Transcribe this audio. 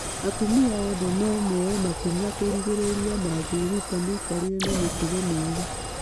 Atumia othe no moye makinya kũũrigĩrĩria mangĩĩruta mĩkarĩre na mĩtugo mĩega.